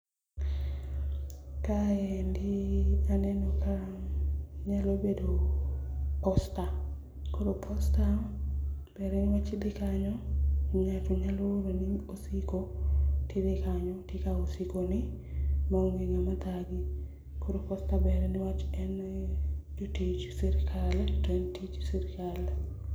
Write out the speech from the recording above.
Kaendi aneno ka nyalo bedo posta. Koro posta dhi kanyo, ng'ato nyalo oro ni osigo, tidhi kanyo tikao osigo ni, maonge ng'ama thagi. Koro posta ber niwach en jotich sirkal to en tij sirkal.